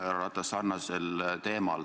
Härra Ratas, küsin sarnasel teemal.